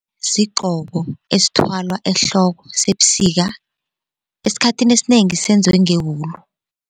Sigqoko esithwalwa ehloko sebusika esikhathini esinengi senziwe ngewulu.